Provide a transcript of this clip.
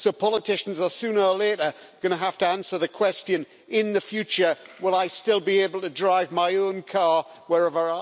So politicians are sooner or later going to have to answer the question in the future will I still be able to drive my own car wherever I want to drive it?